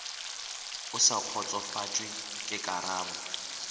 o sa kgotsofatšwe ke karabo